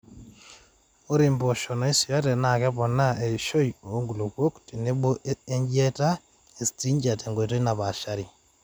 ore impoosho naaisuyate naa keponaa eishoi oo nkulupuok tenebo o ejiati e striga te nkoitoi napaashari